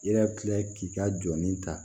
I yɛrɛ bi kila k'i ka jɔni ta